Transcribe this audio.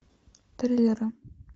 триллеры